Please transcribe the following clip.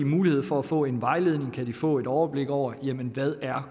mulighed for at få en vejledning kan de få et overblik over hvad